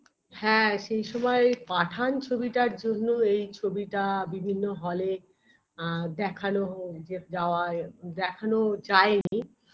হ্যাঁ সেই সময় Pathan ছবিটার জন্য এই ছবিটা বিভিন্ন hall -এ আ দেখানো যা যাওয়া দেখানো যায়নি